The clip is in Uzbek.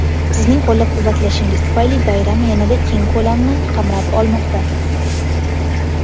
Sizning qo‘llab-quvvatlashingiz tufayli bayram yanada keng ko‘lamni qamrab olmoqda.